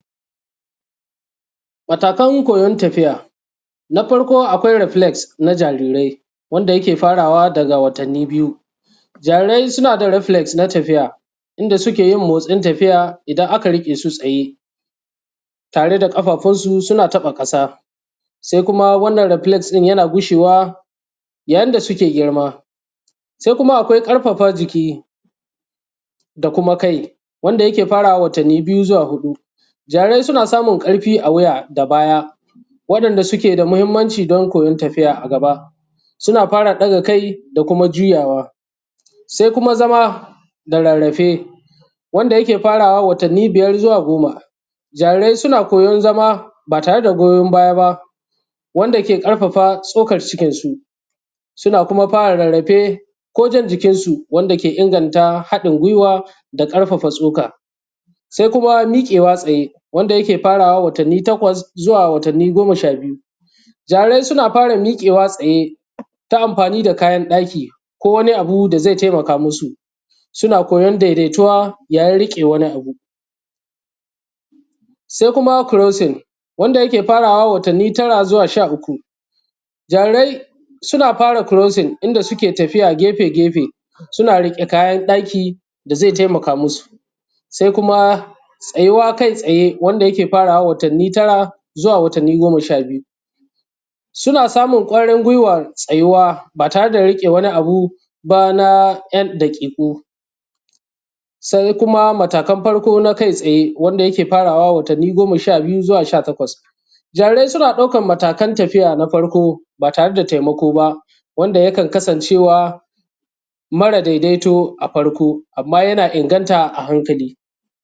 Matakan koyon tafiya na farko akwai reflex na jarirai wanda yake fara wa daga watanni biyu. Jarirai suna da reflex na tafiya inda suke yin motsin tafiya, idan aka riƙe su tsaye tare da ƙafafun su suna taɓa ƙasa. Sai kuma wannan relex ɗin yana gushewa yayin da suke girma sai kuma akwai ƙarfafa jiki da kuma kai wanda yake farawa watanni biyu zuwa huɗu. Jarirai suna samun ƙarfi a wuya da baya waɗanda suke da mahimmanci don koyon tafiya a gaba. Suna fara ɗaga kai da kuma juyawa, sai kuma zama da rarrafe, wanda yake farawa watanni biyar zuwa goma. Jarirai suna koyon zama ba tare da goyon baya ba wanda ke ƙarfafa tsokan cikinsu. Suna kuma fara rarrafe ko jan jikinsu wanda ke inganta haɗin guiwa da ƙarfafa tsoka. Sai kuma miƙewa tsaye wanda yake farawa watanni takwas zuwa watanni goma sha biyu. Jarirai suna fara miƙewa tsaye ta amfani da kayan ɗaki, ko wani abu da zai taimaka musu. Suna koyan daidaituwa yayin riƙe wani abu, sai kuma crosing wanda ke farawa watanni tara zuwa sha uku. Jarirai suna fara crosing inda suke tafiya gefe gefe suna riƙe kayan ɗaki da zai taimaka musu, sai kuma tsayuwa kai tsaye wanda yake farawa watanni tara zuwa watanni goma sha biyu, suna samun ƙwarin guiwan tsayuwa ba tare da riƙe wani abu ba na ‘yan daƙiƙu. Sai kuma matakan farko na kai tsaye wanda yake farawa watannin sha biyu zuwa sha takwas. Jarirai suna ɗaukan matakan tafiya na farko ba tare da taimako ba wanda yakan kasancewa mara dai daito a farko, amman yana inganta a hankali